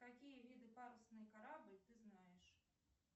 какие виды парусный корабль ты знаешь